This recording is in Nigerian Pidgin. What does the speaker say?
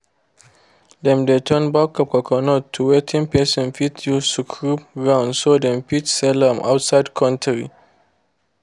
them de turn back of coconut to wetin person fit use scrub ground so them fit sell am outside country.